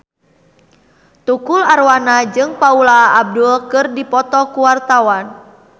Tukul Arwana jeung Paula Abdul keur dipoto ku wartawan